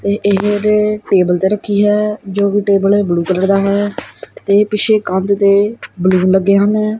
ਤੇ ਇਹਦੇ ਟੇਬਲ ਤੇ ਰੱਖੀ ਹੈ ਜੋਕਿ ਟੇਬਲ ਬਲੂ ਕਲਰ ਦਾ ਹੈ ਤੇ ਪਿੱਛੇ ਕੰਧ ਤੇ ਬੈਲੂਨ ਲੱਗੇ ਹਨ।